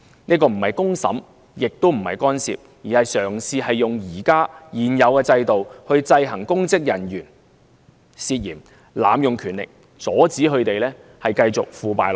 這個不是公審，也不是干涉，而是嘗試利用現有制度制衡公職人員，阻止他們濫用權力、繼續腐敗下去。